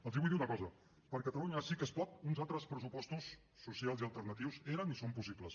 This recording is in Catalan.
els vull dir una cosa per catalunya sí que es pot uns altres pressupostos socials i alternatius eren i són possibles